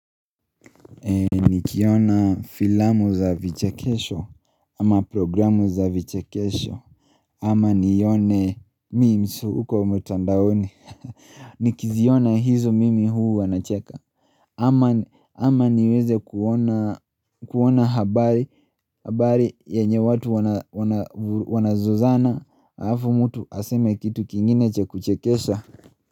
Nikiona filamu za vichekesho ama programu za vichekesho ama nione meems huko mtandaoni Nikiziona hizo mimi huwa nacheka ama niweze kuona habari yenye watu wanazozana alafu mtu aseme kitu kingine cha kuchekesha.